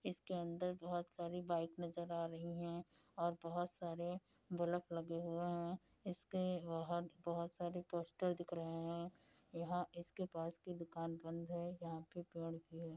इसके अंदर बोहोत सारी बाइक नजर आ रही हैं और बोहोत सारे बल्फ लगे हुए हैं। इसके बाहर बोहोत सारे पोस्टर दिख रहे हैं। यहाँ इसके पास की दुकान बंद है यहाँ पे पेड़ भी हैं --